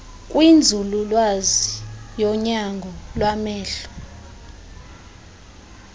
kwinzululwazi yonyango lwamehlo